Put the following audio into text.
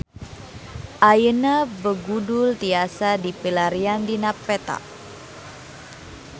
Ayeuna Begudul tiasa dipilarian dina peta